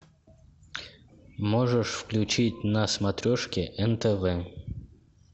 можешь включить на смотрешке нтв